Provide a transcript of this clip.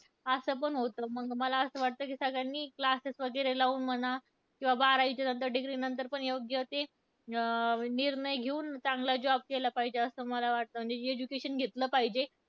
असं पण होतं, म्हणून मला असं वाटतं की सगळ्यांनी classes वगैरे लाऊन म्हणा, किंवा बारावीच्या नंतर degree नंतर पण योग्य ते अं निर्णय घेऊन चांगला job केला पाहिजे, असं मला वाटतं, म्हणजे education घेतलं पाहिजे.